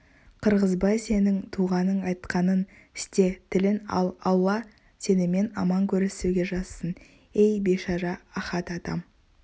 қырғызбай сенің туғаның айтқанын істе тілін ал алла сенімен аман көрісуге жазсын ей бейшара ахат атам